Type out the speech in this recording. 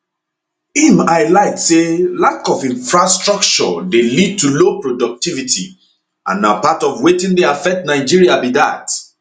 im highlight say lack of infrastructure dey lead to low productivity and na part of wetin dey affect nigeria be dat